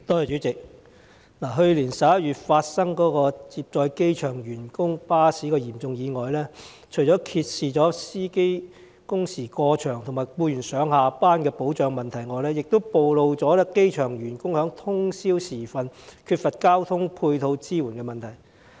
主席，去年11月發生涉及接載機場員工巴士的嚴重意外，除揭示司機工時過長和僱員上下班的保障問題外，也暴露了機場員工在通宵時分缺乏交通配套支援的問題。